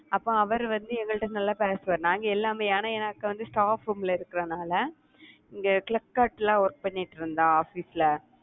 அப்போ அவர் வந்து எங்கள்ட்ட நல்லா பேசுவாரு. நாங்க எல்லாமே ஏன்னா எனக்கு வந்து staff room ல இருக்கிறதுனால இங்க flipkart ல work பண்ணிட்டு இருந்தா office ல